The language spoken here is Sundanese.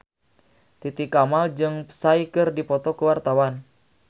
Titi Kamal jeung Psy keur dipoto ku wartawan